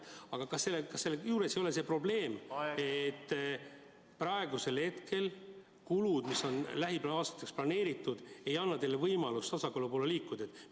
Aga kas selle juures ei ole see probleem, et kulud, mis on lähiaastateks planeeritud, ei anna teile võimalust tasakaalu poole liikuda?